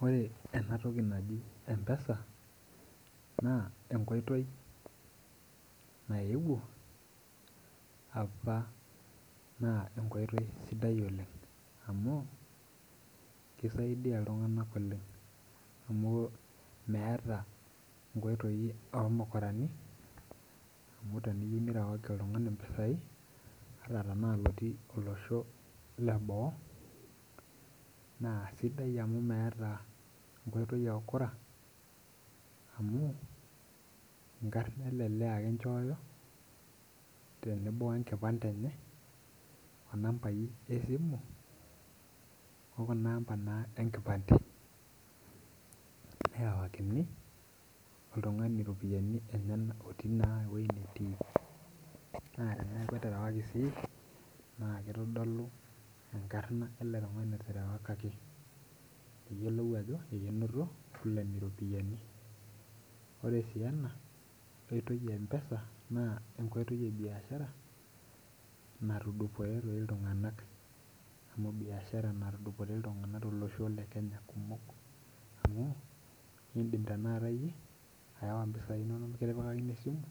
Ore enatoki naji mpesa naa enkoitoi naewuo apa naa enkoitoi sidai oleng amu kisaidia iltung'anak oleng amu meeta inkoitoi omukurani amu teniyieu nirewaki oltung'ani impisai ata tanaa olotii olosho leboo naa sidai amu meeta enkoitoi e ukora amu enkarna ele lee ake inchooyo tenebo wenkipande enye onambai esimu okuna amba naa enkipande nerewakini oltung'ani iropiyiani enyenak otii naa ewoi natii naa teneaku eterewaki sii naa kitodolu enkarna ele tung'ani oterewakaki piyiolou ajo ekenoto fulani iropiyiani ore sii ena koitoi e mpesa naa enkoitoi e biashara natudupore toi iltung'anak amu biashara natudupore iltung'anak kumok tolosho le kenya amu indim tanakata iiyie aawa impisai inononk mikitipikakini esimu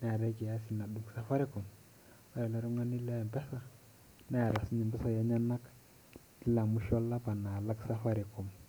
neetae kiasi nadung safaricom ore ele tung'ani le mpesa neeta sininye impisai enyenak kila musho olapa nalak safaricom.